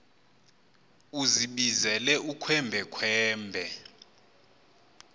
uzibizele ukhwembe khwembe